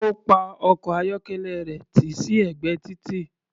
Ó pa ọkọ̀-ayọ́kẹ́lẹ́ rẹ̀ tì sí ẹ̀gbẹ́ títì.